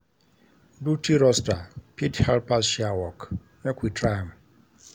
Duty roaster fit help us share work, make we try am.